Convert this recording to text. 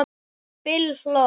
Bill hló.